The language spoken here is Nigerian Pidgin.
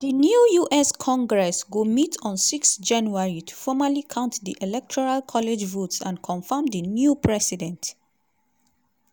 di new us congress go meet on 6 january to formally count di electoral college votes and confam di new president.